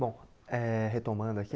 Bom eh, retomando aqui,